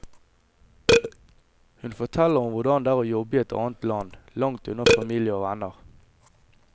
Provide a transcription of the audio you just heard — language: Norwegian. Hun forteller om hvordan det er å jobbe i et annet land, langt unna familie og venner.